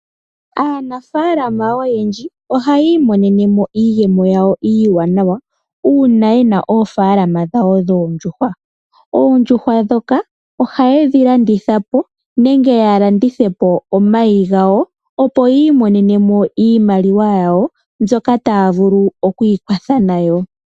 Aanafalama oyendji ohayi monene mo iiyemo yawo iiwanawa una yena oofalama dhawo dhoondjuhwa. Oondjuhwa dhoka ohayedhi landitha po nenge yalandithe po omayigawo opo yiimonene mo iimaliwa yawo mbyoka taya vulu okwikwatha nayo.